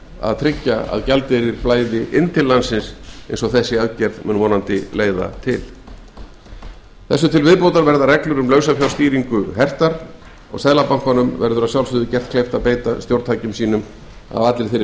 koma í veg fyrir frekara fjármagnsútflæði við núverandi aðstæður þessu til viðbótar verða reglur um lausafjárstýringu hertar og seðlabankanum verður gert kleift að beita stjórntækjum sínum af meiri